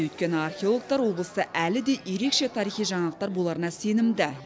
өйткені археологтар облыста әлі де ерекше тарихи жаңалықтар боларына сенімді